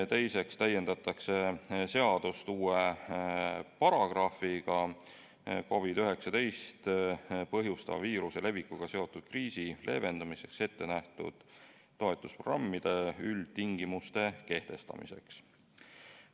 Teiseks täiendatakse seadust uue paragrahviga COVID-19 põhjustava viiruse levikuga seotud kriisi leevendamiseks ette nähtud toetusprogrammide üldtingimuste kehtestamiseks.